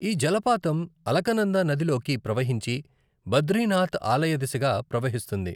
ఈ జలపాతం అలకనంద నదిలోకి ప్రవహించి, బద్రీనాథ్ ఆలయదిశగా ప్రవహిస్తుంది.